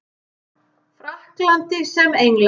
Frakklandi sem Englandi.